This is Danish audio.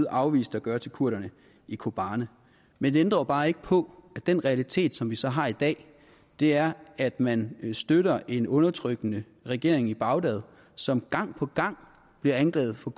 afviste at gøre til kurderne i kobane men det ændrer jo bare ikke på at den realitet som vi så har i dag er at man støtter en undertrykkende regering i bagdad som gang på gang bliver anklaget for